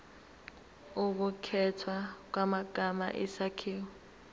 ukukhethwa kwamagama isakhiwo